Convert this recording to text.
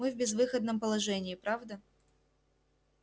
мы в безвыходном положении правда